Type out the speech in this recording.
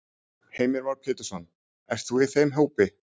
Heimir Már Pétursson: Ert þú í þeim hópi?